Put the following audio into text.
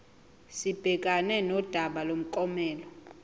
sibhekane nodaba lomklomelo